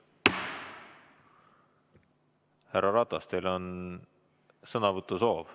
Härra Ratas, teil on sõnavõtusoov.